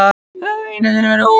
Þau höfðu einu sinni verið ung.